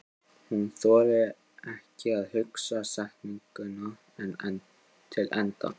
Hún þorir ekki að hugsa setninguna til enda.